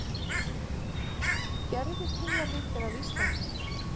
Gervitunglamyndir af Íslandi